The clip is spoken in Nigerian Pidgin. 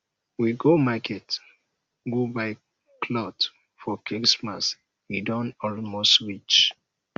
we go market go buy cloth for christmas e don almost reach